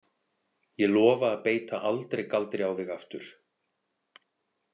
Ég lofa að beita aldrei galdri á þig aftur.